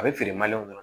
A bɛ feere kɔnɔ